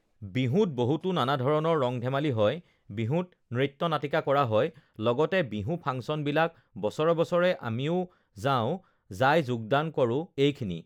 বিহুত বহুতো নানা ধৰণৰ ৰং-ধেমালি হয়, বিহুত নৃত্য-নাটিকা কৰা যায়, লগতে বিহু ফাংচনবিলাক বছৰে বছৰে আমিও যাওঁ যাই যোগদান কৰোঁ, এইখিনি